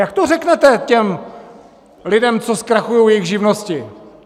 Jak to řeknete těm lidem, co zkrachují jejich živnosti?